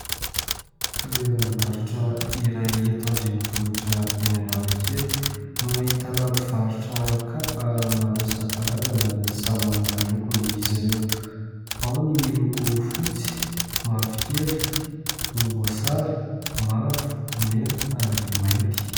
Toeram-barotra iray eto andrenivohitra eny Analakely no ahitana mpivarotra kapa maro isankarazany ary samy manana lokony izy ireo. Ao ny miloko fotsy, mavo kely, volom-boasary, mavo, mena, ary mainty.